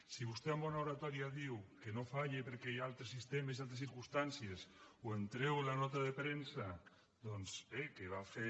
si vostè amb bona oratòria diu que no falla perquè hi ha altres sistemes i altres circumstàncies ho entrego en la nota de premsa doncs que va fer